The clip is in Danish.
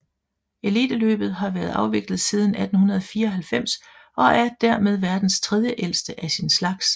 Eliteløbet har været afviklet siden 1894 og er dermed verdens tredjeældste af sin slags